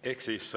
Ehk siis